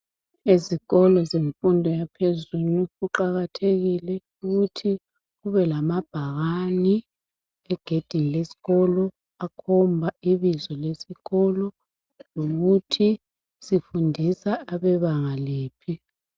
Ezikolo zemfundo yaphezulu kuqakathekile ukuthi kube lamabhakani egedini leskolo akhomba ibizo lesikolo lokuthi sifundisa abebanga liphi.